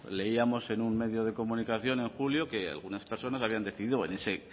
leíamos en un medio de comunicación en julio que algunas personas habían decidido venirse